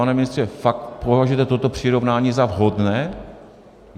Pane ministře, fakt považuje toto přirovnání za vhodné?